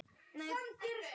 Elma og Jón Einar skildu.